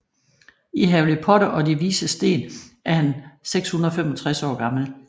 I Harry Potter og De Vises Sten er han 665 år gammel